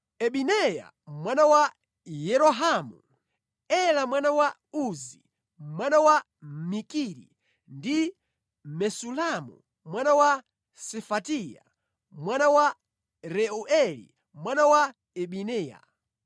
Ibineya mwana wa Yerohamu; Ela mwana wa Uzi, mwana wa Mikiri; ndi Mesulamu mwana wa Sefatiya, mwana wa Reueli mwana wa Ibiniya.